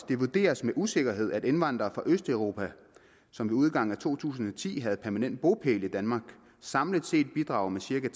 det vurderes med usikkerhed at indvandrere fra østeuropa som ved udgangen af to tusind og ti havde permanent bopæl i danmark samlet set bidrager med cirka